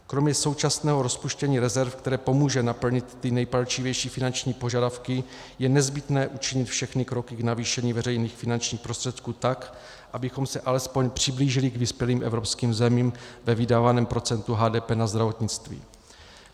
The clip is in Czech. Kromě současného rozpuštění rezerv, které pomůže naplnit ty nejpalčivější finanční požadavky, je nezbytné učinit všechny kroky k navýšení veřejných finančních prostředků, tak abychom se alespoň přiblížili k vyspělým evropským zemím ve vydávaném procentu HDP na zdravotnictví.